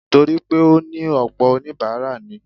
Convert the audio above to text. Torí pé ó ní ọ̀pọ̀ oníbàárà ni.